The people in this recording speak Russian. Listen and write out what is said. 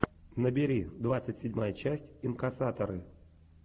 набери двадцать седьмая часть инкассаторы